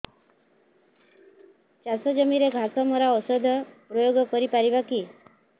ଚାଷ ଜମିରେ ଘାସ ମରା ଔଷଧ ପ୍ରୟୋଗ କରି ପାରିବା କି